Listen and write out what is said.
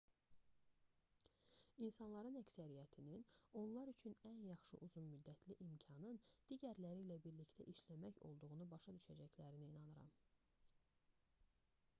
i̇nsanların əksəriyyətinin onlar üçün ən yaxşı uzun-müddətli imkanın digərləri ilə birlikdə işləmək olduğunu başa düşəcəklərinə inanıram